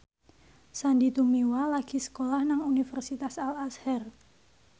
Sandy Tumiwa lagi sekolah nang Universitas Al Azhar